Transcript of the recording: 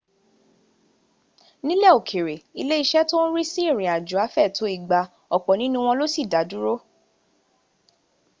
nílẹ̀ òkère lé ìṣe tó ń rí sí rínrín ìrìnàjò afẹ tó igba. ọ̀pọ̀ nínú wọn ló sì dá dúró